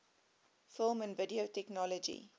film and video technology